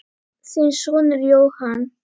Þinn sonur Jóhann.